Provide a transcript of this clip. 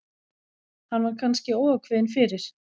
Hann var kannski óákveðinn fyrir.